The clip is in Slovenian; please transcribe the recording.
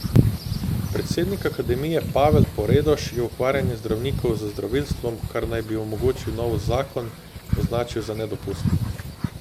Predsednik akademije Pavel Poredoš je ukvarjanje zdravnikov z zdravilstvom, kar naj bi omogočil novi zakon, označil za nedopustno.